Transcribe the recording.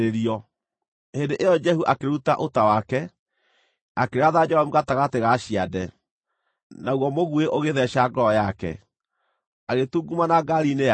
Hĩndĩ ĩyo Jehu akĩruta ũta wake, akĩratha Joramu gatagatĩ ga ciande. Naguo mũguĩ ũgĩtheeca ngoro yake, agĩtungumana ngaari-inĩ yake.